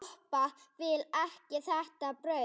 Doppa vill ekki þetta brauð.